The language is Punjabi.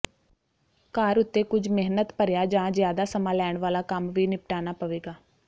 ਘਰ ਉੱਤੇ ਕੁੱਝ ਮਿਹਨਤ ਭਰਿਆ ਜਾਂ ਜ਼ਿਆਦਾ ਸਮਾਂ ਲੈਣ ਵਾਲਾ ਕੰਮ ਵੀ ਨਿਪਟਾਨਾ ਪਵੇਗਾ